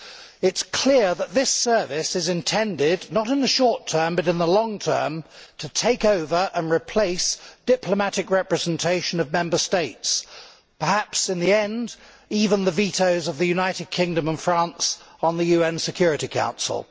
It is clear that this service is intended not in the short term but in the long term to take over and replace diplomatic representation of Member States, perhaps in the end, even the vetoes of the United Kingdom and France on the UN Security Council.